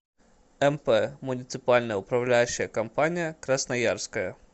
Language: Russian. мп муниципальная управляющая компания красноярская